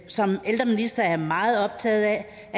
som ældreminister er jeg meget optaget af